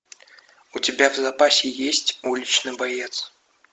у тебя в запасе есть уличный боец